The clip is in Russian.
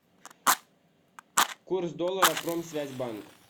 курс доллара промсвязьбанк